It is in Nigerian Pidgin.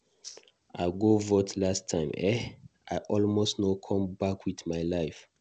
I go vote last time eh, I almost no come back with my life.